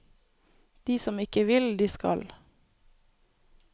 De som ikke vil, de skal.